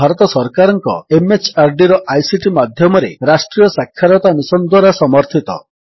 ଏହା ଭାରତ ସରକାରଙ୍କ MHRDର ଆଇସିଟି ମାଧ୍ୟମରେ ରାଷ୍ଟ୍ରୀୟ ସାକ୍ଷରତା ମିଶନ୍ ଦ୍ୱାରା ସମର୍ଥିତ